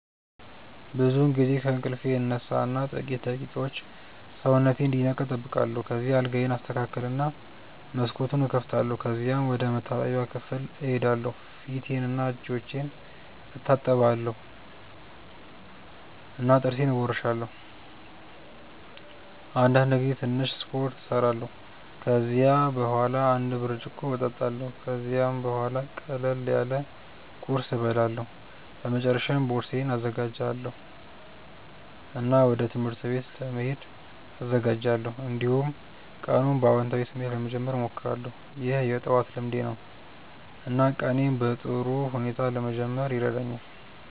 ብዙውን ጊዜ ከእንቅልፌ እነሳ እና ጥቂት ደቂቃዎች ሰውነቴን እንዲነቃ እጠብቃለሁ። ከዚያ አልጋዬን አስተካክላለሁ እና መስኮቱን እከፍታለሁ። ከዚያም ወደ መታጠቢያ ክፍል እሄዳለሁ ፊቴንና እጆቼን እታጠባለሁ እና ጥርሴን እቦርሳለሁ። አንዳንድ ጊዜ ትንሽ ስፖርት እሰራለሁ። ከዚያ በኋላ አንድ ብርጭቆ እጠጣለሁ። ከዚያም ቡሃላ ቅለል ያለ ቁርስ እበላለሁ። በመጨረሻ ቦርሳዬን እዘጋጃለሁ እና ወደ ትምህርት ቤት ለመሄድ እዘጋጃለሁ። እንዲሁም ቀኑን በአዎንታዊ ስሜት ለመጀመር እሞክራለሁ። ይህ የጠዋት ልምዴ ነው እና ቀኔን በጥሩ ሁኔታ ለመጀመር ይረዳኛል።